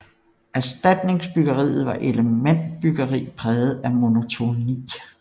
Erstatningsbyggeriet var elementbyggeri præget af monotoni